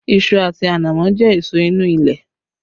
Iṣu àti ànámọ́ jẹ́ èso inú ilẹ̀